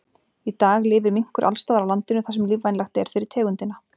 Í dag lifir minkur alls staðar á landinu þar sem lífvænlegt er fyrir tegundina.